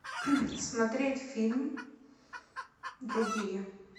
смотреть фильм другие